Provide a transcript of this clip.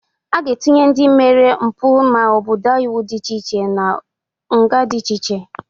Aga etinye ndị mere mbụ ma ọ bụ daa iwu dị iche iche n'udị nga dị iche iche.